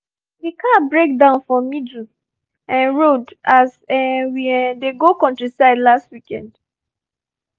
the car break down for middle um road as um we um dey go countryside last weekend